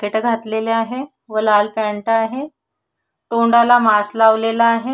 केट घातलेलं आहे व लाल पॅन्ट आहे तोंडाला मास्क लावलेला आहे.